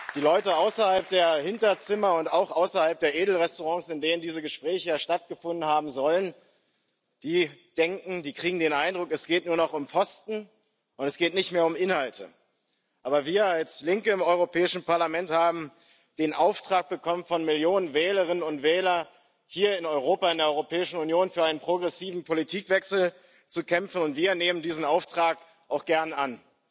Die Leute außerhalb der Hinterzimmer und auch außerhalb der Edelrestaurants, in denen diese Gespräche ja stattgefunden haben sollen, kriegen den Eindruck, es geht nur noch um Posten und nicht mehr um Inhalte. Aber wir als Linke im Europäischen Parlament haben von Millionen Wählerinnen und Wählern den Auftrag bekommen, hier in Europa, in der Europäischen Union für einen progressiven Politikwechsel zu kämpfen. Und wir nehmen diesen Auftrag auch gern an.